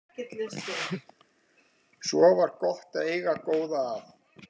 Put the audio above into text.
Svo var gott að eiga góða að.